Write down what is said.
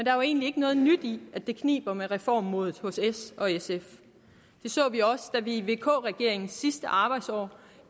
er jo egentlig ikke noget nyt i at det kniber med reformmodet hos s og sf det så vi også da vi i vk regeringens sidste arbejdsår